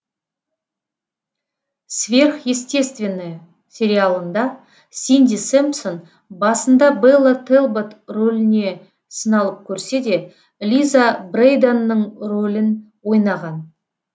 сверхъестественное сериалында синди сэмпсон басында бэлла тэлбот роліне сыналып көрседе лиза брэйданның ролін ойнаған